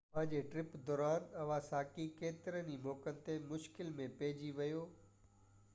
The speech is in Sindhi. پنهنجي ٽرپ دوران اواساڪي ڪيترن ئي موقعن تي مشڪل ۾ پئجي ويو